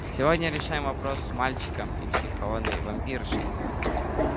сегодня решаем вопрос с мальчиком и психованной вампиршей